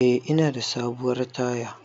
Eh ina da sabuwar taya